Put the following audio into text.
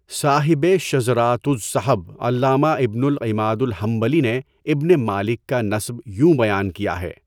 صاحبِ شذراتُ الذَّھَب علامہ ابنُ العماد الحنبلی نے ابن مالک کا نسب یوں بیان کیا ہے